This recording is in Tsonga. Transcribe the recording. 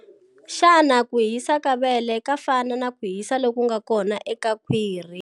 Xana ku hisa ka vele ka fana na ku hisa loku nga kona eka khwiri?